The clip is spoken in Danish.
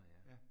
Ja